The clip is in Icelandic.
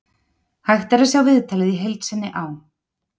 Hægt er að sjá viðtalið í heild sinni á